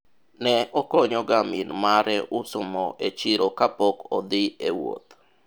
ne okonyo ga min mare uso mo e chiro kapok odhi e wuoth